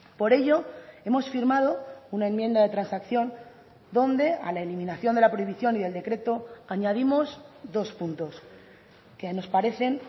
por ello hemos firmado una enmienda de transacción donde a la eliminación de la prohibición y el decreto añadimos dos puntos que nos parecen